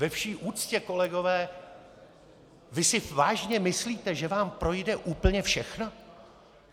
Ve vší úctě, kolegové, vy si vážně myslíte, že vám projde úplně všechno?